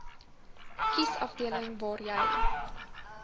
kiesafdeling waar jy